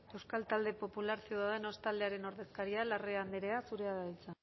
euskal talde popular ciudadanos taldearen ordezkaria larrea andrea zurea da hitza